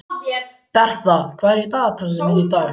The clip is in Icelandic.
Bertha, hvað er í dagatalinu mínu í dag?